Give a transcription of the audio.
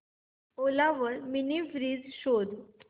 ओला वर mini fridge शोध